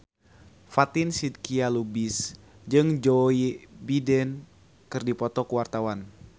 Fatin Shidqia Lubis jeung Joe Biden keur dipoto ku wartawan